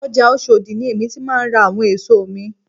Ọjà Oshodi ni èmi ti máà ń ra àwọn èso mi